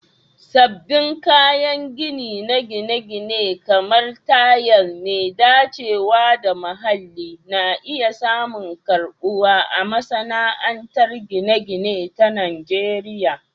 Sabbin kayan gini na gine-gine, kamar tayal mai dacewa da muhalli, na iya samun karbuwa a masana'antar gine-gine ta Najeriya.